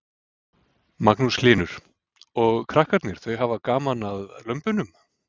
Magnús Hlynur: Og krakkarnir þau hafa gaman að lömbunum?